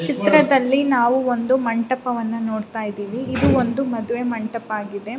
ಚಿತ್ರದ್ಲಲಿ ನಾವು ಒಂದು ಮಂಟಪವನ್ನು ನೋಡತಾ ಇದ್ದಿವಿ ಇದು ಒಂದು ಮದುವೆ ಮಂಟಪವಾಗಿದೆ .